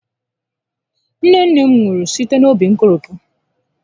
Nne nne m nwụrụ site n'óbí nkolopu